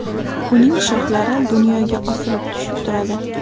Uning shoxlari dunyoga osilib tushib turadi.